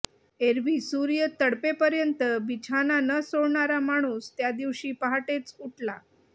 एरवी सूर्य तळपेपर्यंत बिछाना न सोडणारा माणूस त्या दिवशी पहाटेच उठला